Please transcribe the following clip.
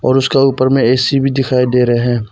उसका ऊपर में एसी भी दिखाई दे रहे हैं।